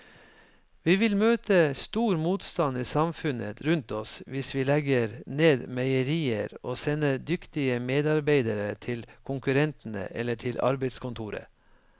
Vi vil møte stor motstand i samfunnet rundt oss hvis vi legger ned meierier og sender dyktige medarbeidere til konkurrentene eller til arbeidskontoret.